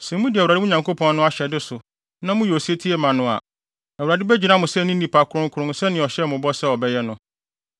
Sɛ mudi Awurade, mo Nyankopɔn no, ahyɛde so na moyɛ osetie ma no a, Awurade begyina mo sɛ ne nnipa kronkron sɛnea ɔhyɛɛ mo bɔ sɛ ɔbɛyɛ no.